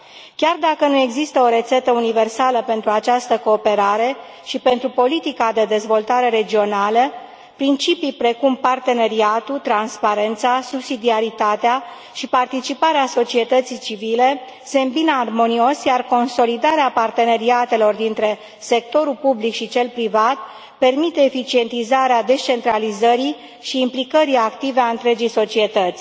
Chiar dacă nu există o rețetă universală pentru această cooperare și pentru politica de dezvoltare regională, principii precum parteneriatul, transparența, subsidiaritatea și participarea societății civile se îmbină armonios, iar consolidarea parteneriatelor dintre sectorul public și cel privat permite eficientizarea descentralizării și implicării active a întregii societăți.